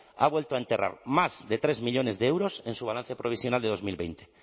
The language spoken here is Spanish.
ha vuelto a enterrar más de tres millónes de euros en su balance provisional de dos mil veinte